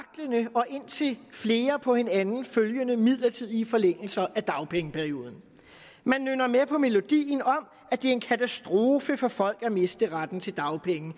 og indtil flere på hinanden følgende midlertidige forlængelser af dagpengeperioden man nynner med på melodien om at det er en katastrofe for folk at miste retten til dagpenge